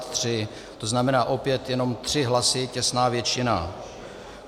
To znamená, opět jenom tři hlasy, těsná většina.